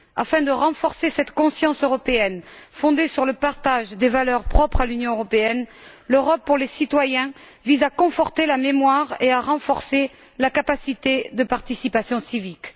Afin de renforcer cette conscience européenne, fondée sur le partage des valeurs propres à l'Union européenne, L'Europe pour les citoyens vise à conforter la mémoire et à renforcer la capacité de participation civique.